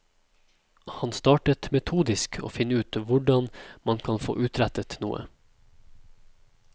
Han startet metodisk å finne ut hvordan man kan få utrettet noe.